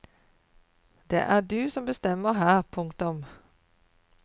Det er du som bestemmer her. punktum